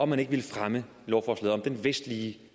man ikke ville fremme lovforslaget om den vestlige